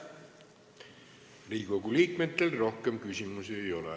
Riigikogu liikmetel rohkem küsimusi ei ole.